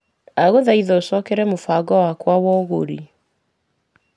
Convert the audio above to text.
Ndagũthaitha ũcokere mũbango wakwa wa ũgũri .